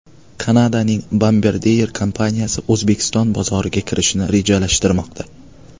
Kanadaning Bombardier kompaniyasi O‘zbekiston bozoriga kirishni rejalashtirmoqda.